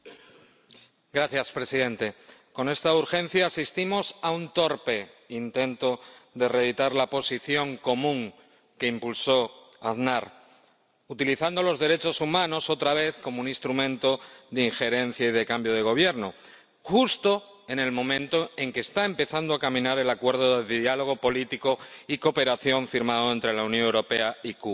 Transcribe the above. Señor presidente, con esta urgencia asistimos a un torpe intento de reeditar la Posición Común que impulsó Aznar, utilizando los derechos humanos, otra vez, como un instrumento de injerencia y de cambio de Gobierno justo en el momento en que está empezando a caminar el Acuerdo de Diálogo Político y Cooperación firmado entre la Unión Europea y Cuba.